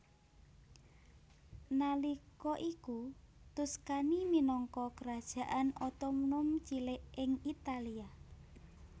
Nalika iku Tuscany minangka kerajaan otonom cilik ing Italia